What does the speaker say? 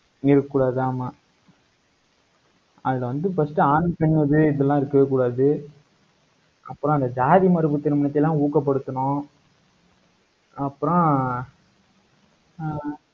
இருக்கக்கூடாது. ஆமா அதுல வந்து first ஆண் பெண் இருக்கவேகூடாது அப்புறம், அந்த ஜாதி மறுப்பு திருமணத்தை எல்லாம் ஊக்கப்படுத்தணும். அப்புறம் ஆஹ்